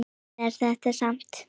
Svona er þetta samt.